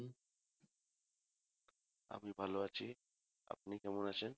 আমি ভালো আছি আপনি কেমন আছেন